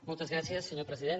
moltes gràcies senyor president